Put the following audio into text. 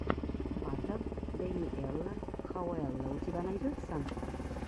батл дэниэла хауэлла у тебя найдется